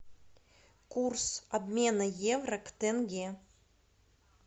курс обмена евро к тенге